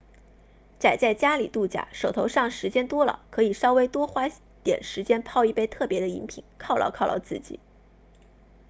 宅在家里度假手头上时间多了可以稍微多花点时间泡一杯特别的饮品犒劳犒劳自己